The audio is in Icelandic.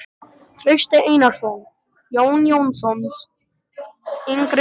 Trausti Einarsson, Jón Jónsson yngri frá